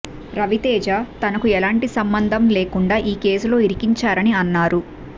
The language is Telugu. రవితేజ తనకు ఎలాంటి సంభందం లేకుండా ఈ కేసులో ఇరికించారారని అన్నారు